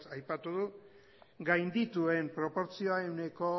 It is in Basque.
aipatu du gaindituen proportzioeneko